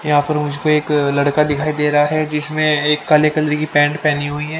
यहाँ पर मुझको एक लड़का दिखाई दे रहा है जिसने एक काली कलर की पैंट पहने हुए है।